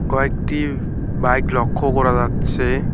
কয়েকটি বাইক লক্ষ্য করা যাচ্ছে।